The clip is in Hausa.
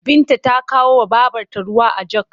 Binta ta kawowa babrta ruwa a jog.